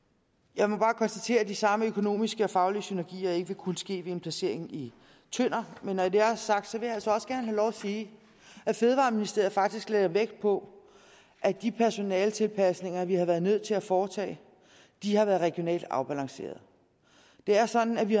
jeg må bare konstatere at de samme økonomiske og faglige synergier ikke vil kunne ske ved en placering i tønder men når det er sagt vil jeg altså også gerne have lov at sige at fødevareministeriet faktisk lagde vægt på at de personaletilpasninger vi har været nødt til at foretage har været regionalt afbalanceret det er sådan at vi